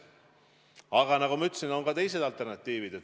Aga nagu ma ütlesin, on ka teised alternatiivid.